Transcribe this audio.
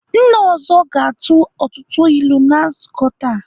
Nna ọzọ ga-atụ ọtụtụ ilu na nzukọ taa.